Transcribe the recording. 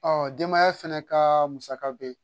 denbaya fɛnɛ kaa musaka be ye.